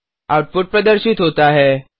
output प्रदर्शित होता है